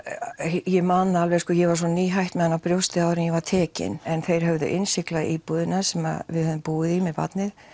ég man það alveg ég var svo nýhætt með hana á brjósti áður en ég var tekin en þeir höfðu innsiglað íbúðina sem við höfðum búið í með barnið